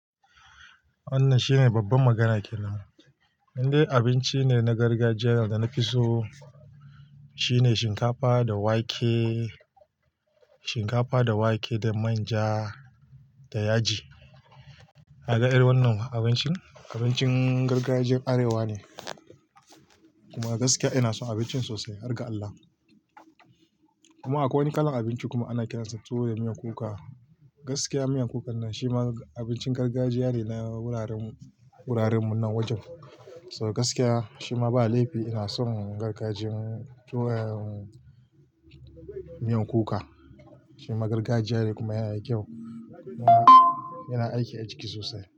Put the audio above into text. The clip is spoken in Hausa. Wannan shine babban magana ke nan. Inde abincine na gargajiya wanda na fi so, shine shinkafa da wake, shinkafa da wake da manja da yaji. Kaga irin wannan abincin, abincin gargajiyar arewa ne, kuma gaskiya ina son abincin sosai, har ga Allah. Kuma akwai wani kalan abinci kuma ana kiransa tuwo da miyan kuka. Gaskiya miyan kukan nan shi ma abincin gargajiya ne na wuraren mu, wuraren mu nan wajen. So gaskiya shi ma ba laifi ina son gargajiyan tuwo ehmm miyan kuka. Shi ma gargajiya ne kuma yana da kyau, yana aiki a jiki sosai.